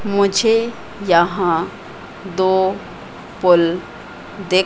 मुझे यहां दो पुल दिख--